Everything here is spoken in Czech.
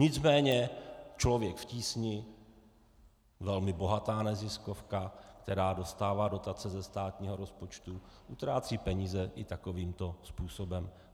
Nicméně Člověk v tísni, velmi bohatá neziskovka, která dostává dotace ze státního rozpočtu, utrácí peníze i takovýmto způsobem.